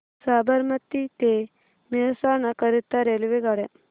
साबरमती ते मेहसाणा करीता रेल्वेगाड्या